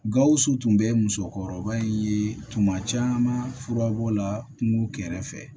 Gawusu tun bɛ musokɔrɔba in ye tuma caman fura b'o la kungo kɛrɛfɛ